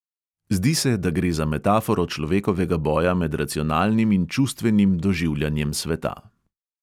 Zdi se, da gre za metaforo človekovega boja med racionalnim in čustvenim doživljanjem sveta.